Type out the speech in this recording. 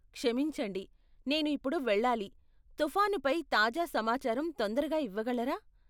క్షమించండి , నేను ఇప్పుడు వెళ్ళాలి, తుఫాను పై తాజా సమాచారం తొందరగా ఇవ్వగలరా ?